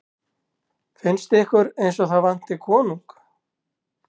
Finnst ykkur eins og það vanti konung?